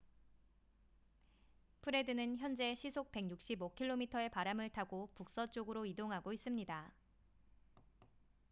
프레드는 현재 시속 165km의 바람을 타고 북서쪽으로 이동하고 있습니다